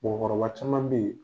Mɔgɔkɔrɔba caman be ye